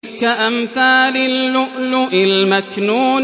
كَأَمْثَالِ اللُّؤْلُؤِ الْمَكْنُونِ